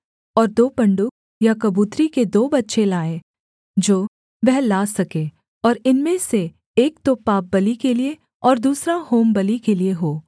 और दो पंडुक या कबूतरी के दो बच्चे लाए जो वह ला सके और इनमें से एक तो पापबलि के लिये और दूसरा होमबलि के लिये हो